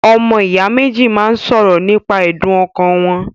Ọmọ ìyá méjì máa ń ṣọ̀rọ̀ nípa ẹ̀dùn ọkàn wọn.